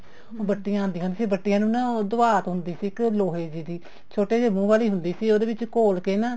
ਬੱਟੀਆਂ ਆਉਂਦੀਆਂ ਹੁੰਦੀਆਂ ਸੀ ਬੱਟੀਆਂ ਨੂੰ ਨਾ ਉਹ ਦਵਾਤ ਹੁੰਦੀ ਸੀ ਲੋਹੇ ਦੀ ਛੋਟੇ ਜੇ ਮੁੰਹ ਵਾਲੀ ਹੁੰਦੀ ਸੀ ਉਹਦੇ ਵਿੱਚ ਘੋਲ ਕੇ ਨਾ